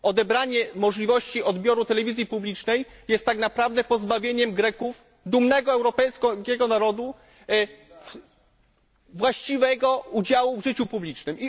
Odebranie możliwości odbioru telewizji publicznej jest tak naprawdę pozbawieniem Greków, dumnego europejskiego narodu, możliwości właściwego udziału w życiu publicznym.